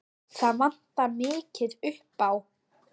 Það vantar mikið upp á.